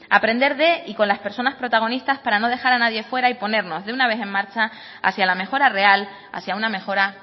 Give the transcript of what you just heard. aprender de y con las personas protagonistas para no dejar a nadie fuera y ponernos de una vez en marcha hacia la mejora real hacia una mejora